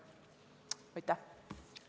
Aitäh!